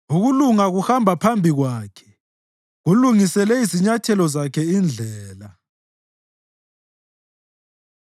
Ukulunga kuhamba phambi kwakhe kulungisele izinyathelo zakhe indlela.